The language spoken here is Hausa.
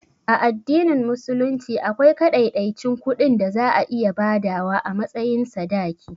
A addinin musulunci akwai kaɗaiɗaicin kuɗin da za a iya badawa a matsayin sadaki